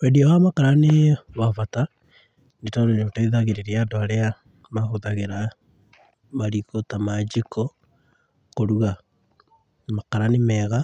Wendia wa makara nĩ wa bata, nĩ tondũ nĩũteithagĩrĩria andũ arĩa mahũthagĩra mariko ta ma njiko, kũruga. Makara nĩ mega